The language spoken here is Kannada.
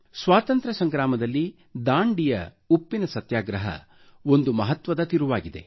ಸ್ವಾತಂತ್ರ್ಯ ಸಂಗ್ರಾಮದಲ್ಲಿ ದಾಂಡಿಯ ಉಪ್ಪಿನ ಸತ್ಯಾಗ್ರಹ ಒಂದು ಮಹತ್ವದ ತಿರುವಾಗಿದೆ